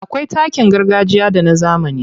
Akwai takin gargajiya da na zamani.